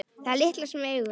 Það litla sem við eigum.